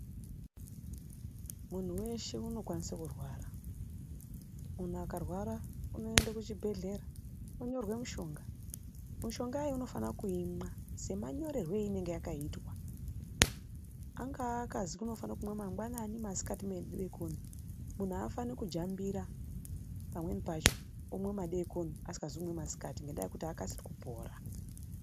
Munhu weshe unokwanisa kurwara muntu akarwara unoenda kuchibhehlera onyorwa mishonga mishonga iyi inofanirwa kuimwa ngemanyorerwe anenge yakaitwa angaazwi unofanira kumwa mangwanani ,masikati nemadekoni munhu havafaniri kujambira pamweni pacho omwa madekoni asikazi kumwa masikati omwa madekoni. Haakasiri kupora.